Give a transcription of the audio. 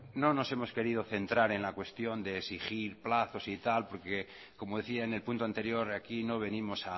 bueno no nos hemos querido centrar en la cuestión de exigir plazos y tal porque como decía en el punto anterior aquí no venimos